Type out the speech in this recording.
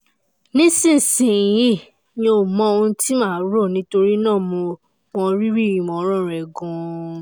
nísinsìnyí mi ò mọ ohun tí màá rò nítorí náà mo mọ rírì ìmọ̀ràn rẹ gan-an